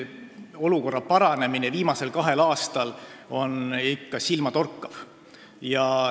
Olukorra paranemine on viimasel kahel aastal olnud ikka silmatorkav.